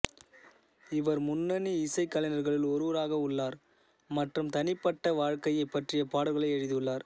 இவர் முன்னணி இசைக்கலைஞர்களில் ஒருவராக உள்ளார் மற்றும் தனிப்பட்ட வாழ்க்கையைப் பற்றிய பாடல்களை எழுதியுள்ளார்